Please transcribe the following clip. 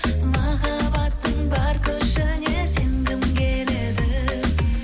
махаббаттың бар күшіне сенгім келеді